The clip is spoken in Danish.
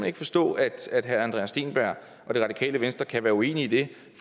ikke forstå at herre andreas steenberg og det radikale venstre kan være uenige i det